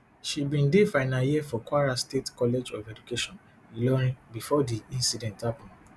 she bin dey final year for kwara state college of education ilorin bifor di incident happun